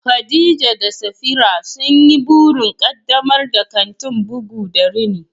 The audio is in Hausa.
Khadija da Safira sun yi burin ƙaddamar da kantin bugu da rini